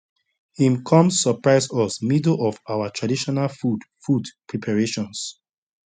him come surprise us middle of our traditional food food preparations